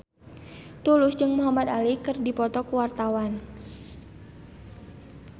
Tulus jeung Muhamad Ali keur dipoto ku wartawan